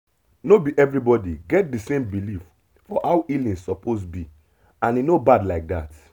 no be everybody get the same belief for how healing suppose be and e no bad like that